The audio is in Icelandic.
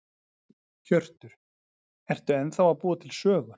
Hjörtur: Ertu ennþá að búa til sögur?